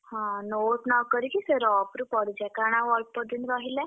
ହଁ note ନ କରିକି ସେ rough ରୁପଢିଯା କାରଣ ଆଉ ଅଳ୍ପ ଦିନ୍ ରହିଲା।